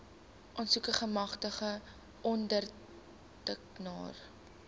aansoeker gemagtigde ondertekenaar